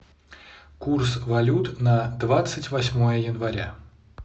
курс валют на двадцать восьмое января